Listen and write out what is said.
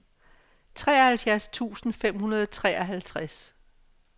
treoghalvfjerds tusind fem hundrede og treoghalvtreds